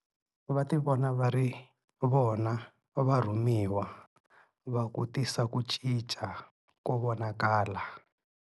Va ti vona va ri vona varhumiwa va ku tisa ku cinca ko vonakala.